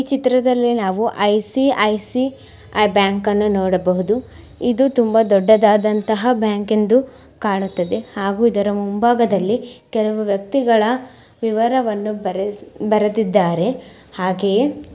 ಈ ಚಿತ್ರದಲ್ಲಿ ನಾವು ಐ.ಸಿ.ಐ.ಸಿ.ಐ ಬ್ಯಾಂಕನ್ನು ನೋಡಬಹುದು ಇದು ತುಂಬಾ ದೊಡ್ಡದಾದಂತಹ ಬ್ಯಾಂಕ್ ಎಂದು ಕಾಣುತ್ತದೆ ಹಾಗೂ ಇದರ ಮುಂಬಾಗದಲ್ಲಿ ಕೆಲವು ವ್ಯಕ್ತಿಗಳ ವಿವರವನ್ನು ಬರೆಸಿ ಬರೆದಿದ್ದಾರೆ ಹಾಗೆಯೇ --